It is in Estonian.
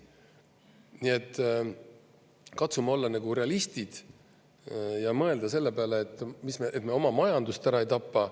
Nii et katsume olla nagu realistid ja mõelda selle peale, et me oma majandust ära ei tapa.